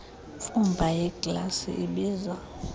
mfumba yeeglasi ibiza